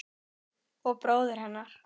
Og bróður hennar.